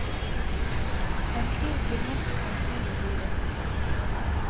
En krig vil mest sannsynlig bli resultatet.